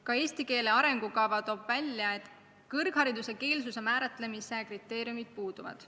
Ka eesti keele arengukava toob välja, et kõrghariduse keele määratlemise kriteeriumid puuduvad.